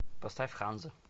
поставь ханза